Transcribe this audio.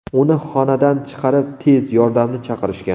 Uni xonadan chiqarib, tez yordamni chaqirishgan.